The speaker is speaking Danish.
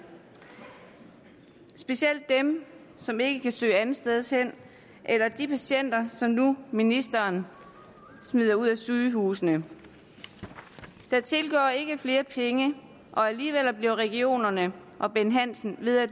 specielt dem som ikke kan søge andetstedshen eller de patienter som ministeren smider ud af sygehusene der tilgår ikke flere penge og alligevel bliver regionerne og bent hansen ved at